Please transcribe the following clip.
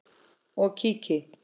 og kíki.